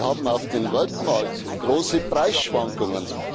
Wir haben auf dem Weltmarkt große Preisschwankungen.